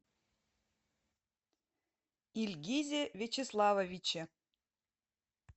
ильгизе вячеславовиче